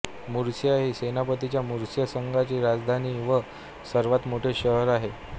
Murcia ही स्पेनच्या Murcia संघाची राजधानी व सर्वात मोठे शहर आहे